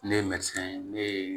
Ne ye ye ne ye